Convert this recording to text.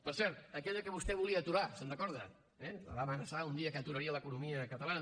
per cert aquella que vostè volia aturar se’n recorda eh va amenaçar un dia que aturaria l’economia catalana